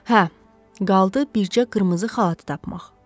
Hə, qaldı bircə qırmızı xalatı tapmaq.